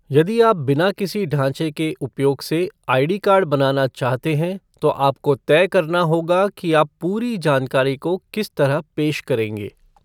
यदि आप बिना किसी ढांचे के उपयोग से आईडी कार्ड बनाना चाहते हैं तो आपको तय करना होगा कि आप पूरी जानकारी को किस तरह पेश करेंगे।